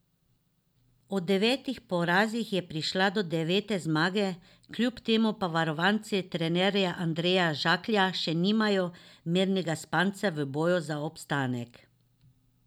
Ob devetih porazih je prišla do devete zmage, kljub temu pa varovanci trenerja Andreja Žaklja še nimajo mirnega spanca v boju za obstanek.